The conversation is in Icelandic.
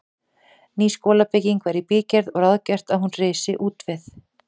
Ný skólabygging var í bígerð og ráðgert að hún risi útvið